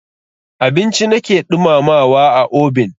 Abinci na ke ɗumamawa a obin.